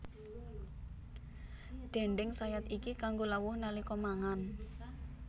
Déndéng sayat iki kanggo lawuh nalika mangan